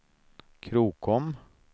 Krokom